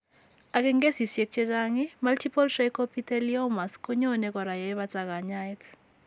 Ak, en kesiisyek chechaang', multiple trichoepitheliomas konyoone kora yee bata kanyaayet.